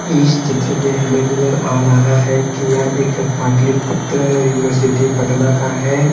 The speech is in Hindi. इस चित्र में हमें नजर आ रहा है कि यह एक पाटलीपुत्र यूनिवर्सिटी पटना का है।